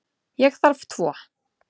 Ég þarf tvo.